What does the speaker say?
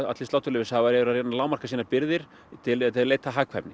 sláturleyfishafar eru að reyna að lágmarka sínar birgðir til að leita að hagkvæmni